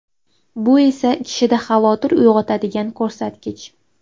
Bu esa kishida xavotir uyg‘otadigan ko‘rsatkich.